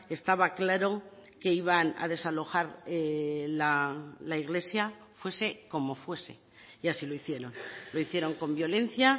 estaba claro que iban a desalojar la iglesia fuese como fuese y así lo hicieron lo hicieron con violencia